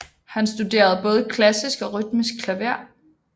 Han studerede både klassisk og rytmisk klaver